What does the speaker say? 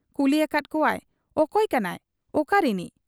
ᱠᱩᱞᱤ ᱟᱠᱟᱫ ᱠᱚᱣᱟᱭ, 'ᱚᱠᱚᱭ ᱠᱟᱱᱟᱭ, ᱚᱠᱟ ᱨᱤᱱᱤᱡ ?'